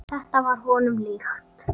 Þetta var honum líkt.